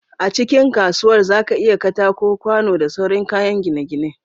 A cikin kasuwar zaka iyya katako kwano da sauran kayan gine gine